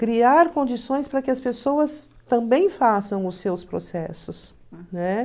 criar condições para que as pessoas também façam os seus processos, né?